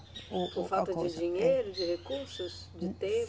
Ô, outra coisa, eh. Por falta de dinheiro, de recursos, de tempo?